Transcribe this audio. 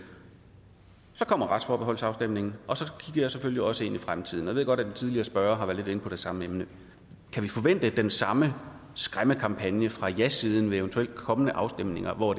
så kommer retsforbeholdsafstemningen og så jeg selvfølgelig også ind i fremtiden jeg ved godt at de tidligere spørgere har været lidt inde på det samme emne kan vi forvente den samme skræmmekampagne fra jasiden ved eventuelle kommende afstemninger hvor